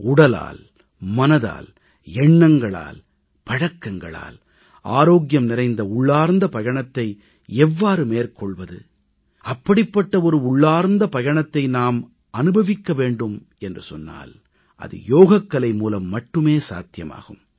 உடலால் மனதால் எண்ணங்களால் பழக்கங்களால் ஆரோக்கியம் நிறைந்த உள்ளார்ந்த பயணத்தை எவ்வாறு மேற்கொள்வது அப்படிப்பட்ட உள்ளார்ந்த பயணத்தை நாம் அனுபவிக்க வேண்டும் என்று சொன்னால் அது யோகக்கலை மூலம் மட்டுமே சாத்தியமாகும்